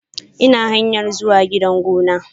Ina hanyar zuwa gidan gona.